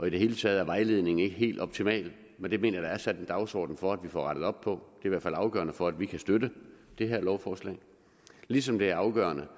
i det hele taget er vejledningen ikke helt optimal men det mener jeg der er sat en dagsorden for at vi får rettet op på det i hvert fald afgørende for at vi kan støtte det her lovforslag ligesom det er afgørende